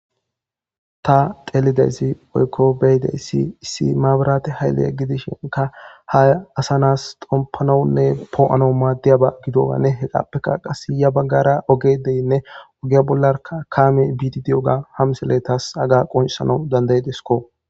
Tha xeelida isi woykko be7ida isi issi mabraathe hayle gidishinkka asanaas xomppanawunne ppo7anawu maaddiyawa gidowanne hegaappekka ya baggaara qassi ogee de7iyawa ogiya bollaarakka kaamee biiddi diyoogaa ha misile thas hagaa qonccissanas danddayideskko.